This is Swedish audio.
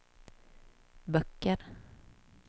böcker